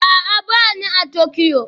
A'a, ba ni a Tokyo